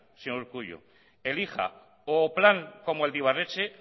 señor urkullu o plan como el de ibarretxe